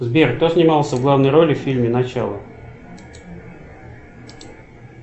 сбер кто снимался в главной роли в фильме начало